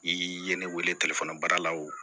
I ye ne wele baara la o